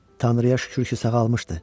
Tanrıya şükür ki, sağalmışdı.